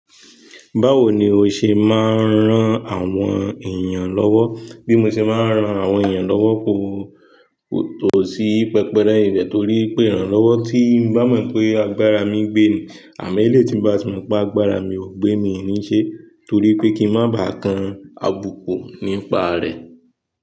Báwo ni o ṣe máa ń ran àwọn èèyàn lọ́wọ́? Bí mo ṣe máa ń ran àwọn èèyàn lọ́wọ́ kò, kò tó sí pẹpẹ rẹ n bẹ́ torí pé ìrànlọ́wọ́ tín bá mọ̀ pé agbára mi gbé ni àmọ elè tí ń bá ti mọ̀ pé agbára mi ò gbé mi níí ṣe torí pé kí n má bá kan àbùkù nípa rẹ̀.